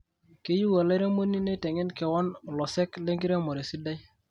keyieu olairemoni neitengen kewon olosek lenkiremore sidai.